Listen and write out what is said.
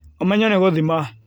Ũmenyo na gũthima